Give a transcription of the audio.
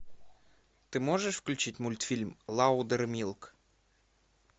ты можешь включить мультфильм лаудермилк